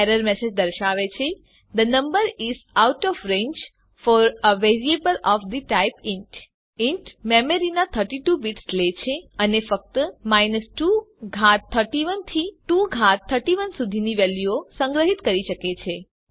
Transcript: error message દર્શાવે છે the number is out of range for a variable of the type int int મેમરીના 32 bits લે છે અને ફક્ત 2 ઘાત 31 થી 2 ઘાત 31 સુધીની વેલ્યુઓને સંગ્રહીત કરી શકે છે